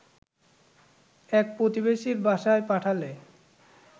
এক প্রতিবেশীর বাসায় পাঠালে